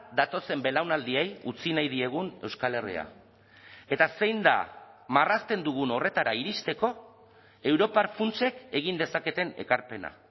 datozen belaunaldiei utzi nahi diegun euskal herria eta zein da marrazten dugun horretara iristeko europar funtsek egin dezaketen ekarpena